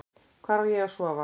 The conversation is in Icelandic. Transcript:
Hvar á ég að sofa?